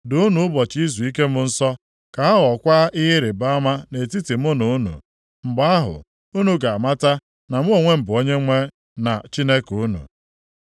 Doonụ ụbọchị izuike m nsọ, ka ha ghọọkwa ihe ịrịbama nʼetiti mụ na unu. Mgbe ahụ, unu ga-amata na mụ onwe m bụ Onyenwe na Chineke unu.”